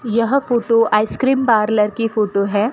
यह photo ice cream parlour की photo है।